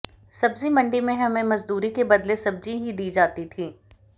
सब्जी मंडी में हमें मजदूरी के बदले सब्जी ही दी जाती थी